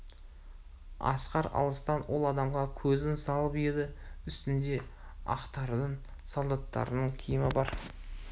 асқар алыстан ол адамға көзін салып еді үстінде ақтардың солдаттарының киімі бар